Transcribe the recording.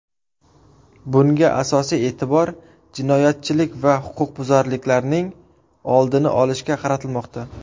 Bunda asosiy e’tibor jinoyatchilik va huquqbuzarliklarning oldini olishga qaratilmoqda.